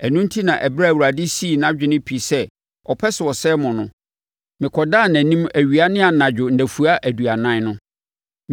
Ɛno enti na ɛberɛ a Awurade sii nʼadwene pi sɛ ɔpɛ sɛ ɔsɛe mo no, mekɔdaa nʼanim awia ne anadwo nnafua aduanan no.